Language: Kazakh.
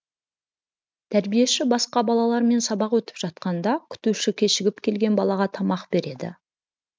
тәрбиеші басқа балалармен сабақ өтіп жатқанда күтуші кешігіп келген балаға тамақ береді